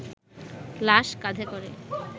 লাশ কাঁধে করে